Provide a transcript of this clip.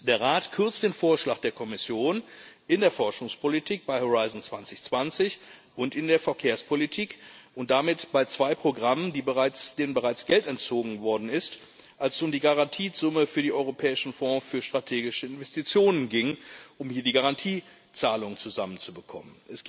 Der Rat kürzt den Vorschlag der Kommission in der Forschungspolitik bei Horizont 2020 und in der Verkehrspolitik und damit bei zwei Programmen, denen bereits Geld entzogen worden ist, als es um die Garantiesumme für den Europäischen Fonds für strategische Investitionen ging, um hier die Garantiezahlung zusammenzubekommen.